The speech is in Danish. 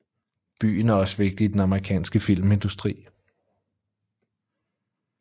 Byen er også vigtig i den amerikanske filmindustri